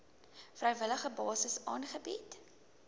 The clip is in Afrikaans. vrywillige basis aangebied